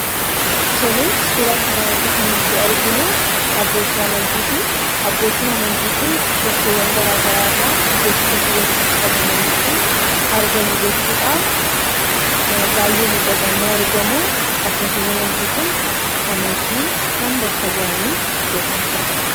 Tole, suuraa kanarratti kan nuyi arginu Abbooti amantitii. Abbootiin amantii kun, bakkeewwaan garaagaraarra iddoo tokkotti walitti qabamaniitu argamu jechudhaa, baay'ee miidhaganii argamuu, Abbootiin amantii kun, amantii kam, bakka bu'aani iddoo kanatti argaman?